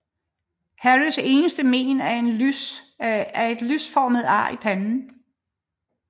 Harrys eneste mén er et lynformet ar i panden